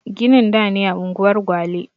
Ginin da ne a unguwar gwale